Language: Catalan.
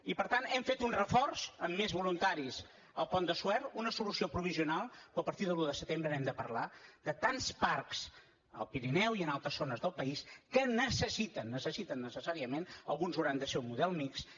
i per tant hem fet un reforç amb més voluntaris al pont de suert una solució provisional però a partir de l’un de setembre n’hem de parlar de tants parcs al pirineu i en altres zones del país que necessiten necessiten necessàriament alguns hauran de ser un model mixt